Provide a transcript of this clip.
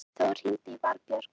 Þór, hringdu í Valbjörk.